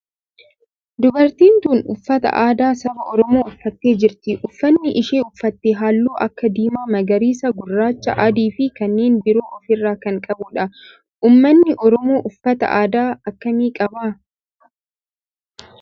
Dubartiin tun uffata aadaa saba oromoo uffattee jirti. Uffanni isheen uffatte halluu akka diimaa, magariisa, gurraacha, adii fi kanneen biroo of irraa kan qabudha. Ummanni oromoo uffata aadaa akkamii qaba?